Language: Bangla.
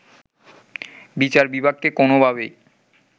বিচার বিভাগকে কোনোভাবেই